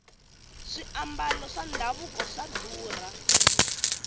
swiambalo swa davuko swa durha